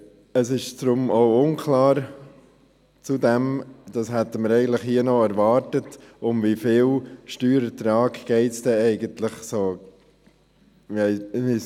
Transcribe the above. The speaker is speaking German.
Es ist zudem auch unklar – das hätten wir hier eigentlich erwartet –, um wie viel Steuerertrag es denn eigentlich ungefähr geht.